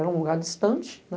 Era um lugar distante, né?